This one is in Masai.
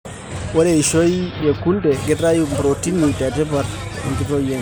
Ore eishoi e kunde keitayu protini e tipat tenkitotio sidai.